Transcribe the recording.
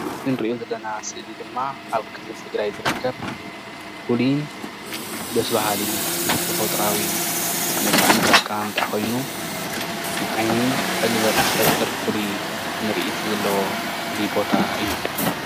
እታ እንሪኦ ስእሊ ድማ ኣብ ክልል ትግራይ ዝርከብ ፉሉይ ደስ በሃሊ ተፈጥሮዊ መልክዓዊ ገፀ ምድሪ እዩ ኣቀማምጣ ኮይኑ ። ንዓይኒ ዕግበት ዝፈጥር ፍሉይ ምርኢት ዘለዎ ፍሉይ ቦታ እዩ